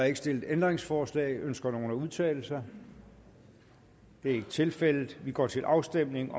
ikke stillet ændringsforslag ønsker nogen at udtale sig det er ikke tilfældet vi går til afstemning